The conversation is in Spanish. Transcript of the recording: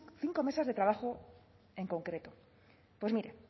cinco mesas de trabajo en concreto pues mire